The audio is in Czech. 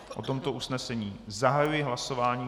O tomto usnesení zahajuji hlasování.